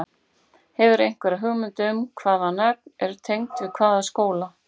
Hefurðu einhverja hugmynd um hvaða nöfn eru tengd við hvaða stóla?